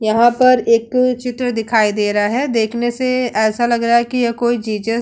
यहां पर एक चित्र दिखाई दे रहा है देखने से ऐसा लग रहा है की ये कोई जीजस --